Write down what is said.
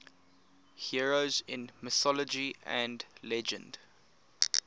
heroes in mythology and legend